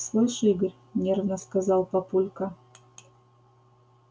слышь игорь нервно сказал папулька